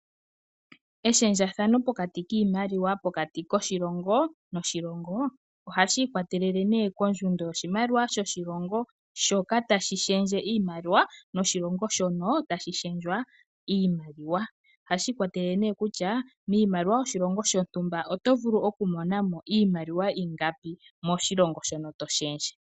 Eshendjathano pokati kiimaliwa pokati koshilongo noshilongo ohashi ikwatelele kondjundo yoshimaliwa yoshilongo shoka tashi shendje iimaliwa noshilongo shono tashi shendjwa iimaliwa. Ohashi ikwatelele kutya miimaliwa yoshilongo shontumba oto vulu okumona mo iimaliwa ingapi moshilongo shono to shendje.